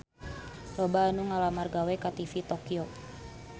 Loba anu ngalamar gawe ka TV Tokyo